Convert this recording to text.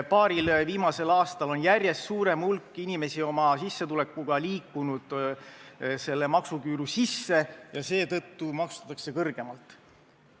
Paaril viimasel aastal on järjest suurem hulk inimesi oma sissetulekuga liikunud selle maksuküüru sisse ja seetõttu maksustatakse neid kõrgemalt.